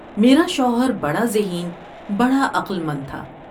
میرا شوہر بڑا ذہین ، بڑا عقل مند تھا ۔